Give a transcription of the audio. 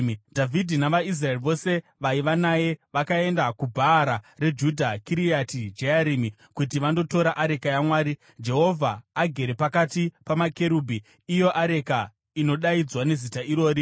Dhavhidhi navaIsraeri vose vaiva naye vakaenda kuBhaara reJudha (Kiriati Jearimi) kuti vandotora areka yaMwari Jehovha, agere pakati pamakerubhi, iyo areka inodaidzwa neZita irori.